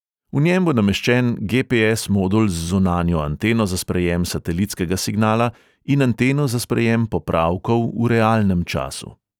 V njem bo nameščen ge|pe|es modul z zunanjo anteno za sprejem satelitskega signala in anteno za sprejem popravkov v realnem času.